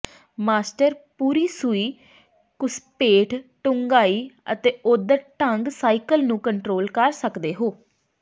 master ਪੂਰੀ ਸੂਈ ਘੁਸਪੈਠ ਡੂੰਘਾਈ ਅਤੇ ਓਧਰ ਢੰਗ ਸਾਈਕਲ ਨੂੰ ਕੰਟਰੋਲ ਕਰ ਸਕਦੇ ਹੋ